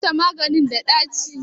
Likita maganin da ɗaci?